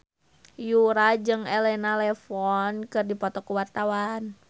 Yura jeung Elena Levon keur dipoto ku wartawan